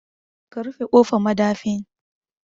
Ka rufe kofar madafin